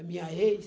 A minha ex.